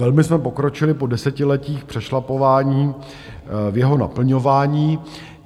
Velmi jsme pokročili po desetiletích přešlapování v jeho naplňování.